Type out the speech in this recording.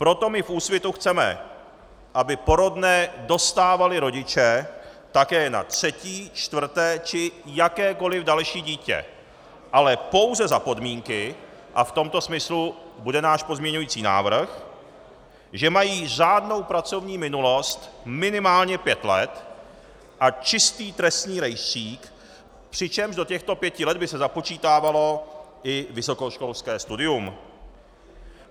Proto my v Úsvitu chceme, aby porodné dostávali rodiče také na třetí, čtvrté či jakékoliv další dítě, ale pouze za podmínky, a v tomto smyslu bude náš pozměňující návrh, že mají řádnou pracovní minulost minimálně pět let a čistý trestní rejstřík, přičemž do těchto pěti let by se započítávalo i vysokoškolské studium.